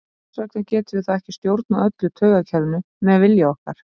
hvers vegna getum við þá ekki stjórnað öllu taugakerfinu með vilja okkar